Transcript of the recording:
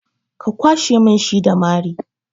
Ka kwashe mun shi da mari!